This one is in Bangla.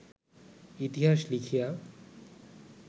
ইতিহাস লিখিয়া